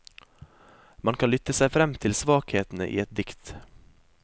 Man kan lytte seg frem til svakhetene i et dikt.